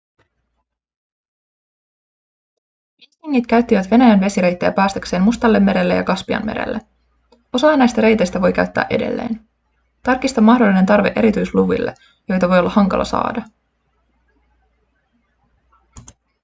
viikingit käyttivät venäjän vesireittejä päästäkseen mustallemerelle ja kaspianmerelle osaa näistä reiteistä voi käyttää edelleen tarkista mahdollinen tarve erityisluville joita voi olla hankala saada